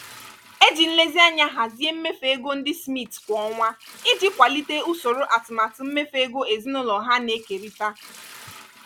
e ji nlezianya hazie mmefu ego ndị smiths kwa ọnwa iji kwalite usoro atụmatụ mmefu ego ezinụlọ ha na-ekerịta.